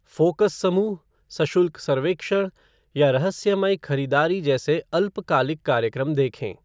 Focus समूह, सशुल्क सर्वेक्षण, या रहस्यमय खरीदारी जैसे अल्पकालिक कार्यक्रम देखें।